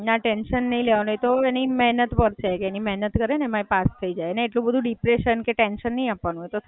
ના, ટેન્શન નહીં લેવાનું એ તો એની મેહનત પર છે કે એની મેહનત કરે ને એમાં એ પાસ થય જાય અને એટલું બધુ ડિપ્રેશન કે ટેન્શન નહીં આપવાનું. એ તો થય જાય